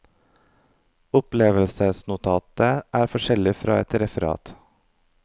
Opplevelsesnotatet er forskjellig fra et referat.